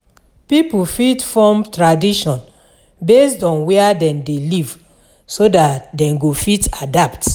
Pipo fit form tradition based on where dem de live so that dem go fit adapt